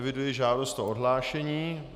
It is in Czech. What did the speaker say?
Eviduji žádost o odhlášení.